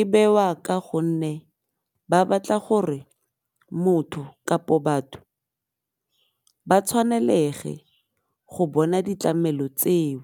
e bewa ka gonne ba batla gore motho kapo batho ba tshwanelege go bona ditlamelo tseo.